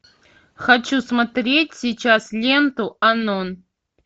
хочу смотреть сейчас ленту анон